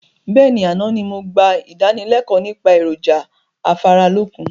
Bẹ́ẹ̀ni, àná ni mo gbà ìdánilẹ̀kọ̀ nípa èròjà afáralókun